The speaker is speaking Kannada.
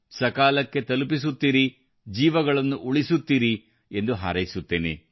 ಸಕಾಲಕ್ಕೆ ತಲುಪುತ್ತಿರಿ ಜೀವಗಳನ್ನು ಉಳಿಸುತ್ತಿರಿ ಎಂದು ಹಾರೈಸುತ್ತೇನೆ